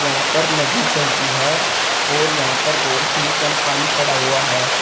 यहां पर नदी चलती है और यहां पर बहुत ही कम पानी पड़ा हुआ है।